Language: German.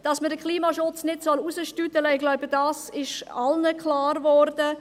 Dass wir den Klimaschutz nicht hinausschieben sollen, ist, denke ich, allen klar geworden.